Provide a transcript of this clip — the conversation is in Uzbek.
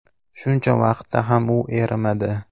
Shuncha vaqtda ham u erimadi.